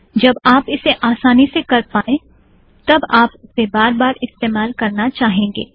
जब आप इसे आसानी से कर पायें तब आप उसे बार बार इस्तेमाल करना चाहेंगे